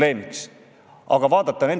See näitab seda, et lihtsalt tahtmist ei ole.